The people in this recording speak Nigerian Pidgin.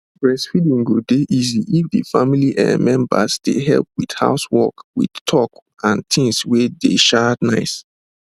breastfeeding go dey easy if d family um members dey help with house work with talk and things wey dey um nice